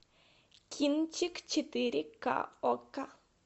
кинчик четыре ка окко